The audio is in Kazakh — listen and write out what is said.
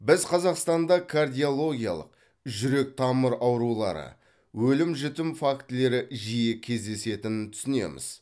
біз қазақстанда кардиологиялық жүрек тамыр аурулары өлім жітім фактілері жиі кездесетінін түсінеміз